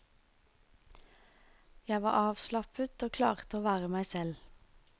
Jeg var avslappet og klarte å være meg selv.